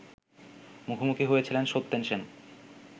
মুখোমুখি হয়েছিলেন সত্যেন সেন